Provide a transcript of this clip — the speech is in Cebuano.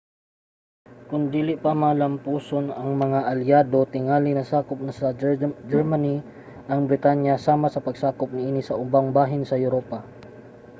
kon dili pa malamposon ang mga alyado tingali nasakop sa germany ang britanya sama sa pagsakop niini sa ubang bahin sa europa